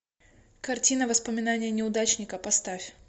картина воспоминания неудачника поставь